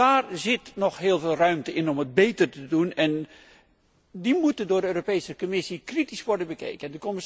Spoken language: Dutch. Daar zit nog heel veel ruimte om het beter te doen en die moeten door de Europese Commissie kritisch worden bekeken.